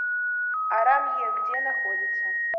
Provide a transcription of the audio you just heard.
арамье где находится